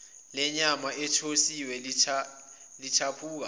lenyama ethosiwe lithaphuka